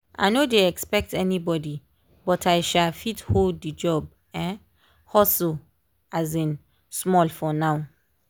i no dey expect anybody but i um fit hold the job um hustle um small for now.